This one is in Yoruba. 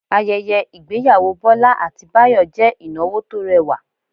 Ayẹyẹ ìgbéyàwó Bọ́lá àti Báyọ̀ jẹ́ ìnáwó tó rẹwà